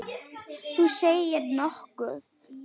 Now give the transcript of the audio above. Þú segir nokkuð!